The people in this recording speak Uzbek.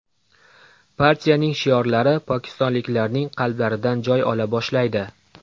Partiyaning shiorlari pokistonliklarning qalblaridan joy ola boshlaydi.